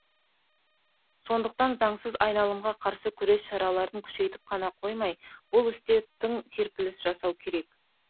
сондықтан заңсыз айналымға қарсы күрес шараларын күшейтіп қана қоймай бұл істе тың серпіліс жасау керек